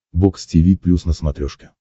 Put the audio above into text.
бокс тиви плюс на смотрешке